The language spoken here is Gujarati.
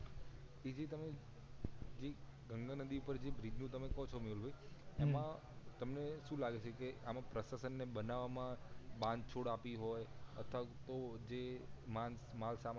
એ જે તમે જે ગંગા નદી પર જે બ્રિજ નું તમે કો છો મેહુલભઇ હમ એમાં તમને શું લાગે છે કે આમાં પ્રસાશન ને બનાવમાં બાંધછોડ આપી હોય અથવા તો જે